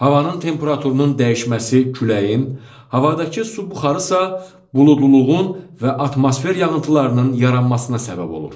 Havanın temperaturunun dəyişməsi küləyin, havadakı su buxarı isə buludluluğun və atmosfer yağıntılarının yaranmasına səbəb olur.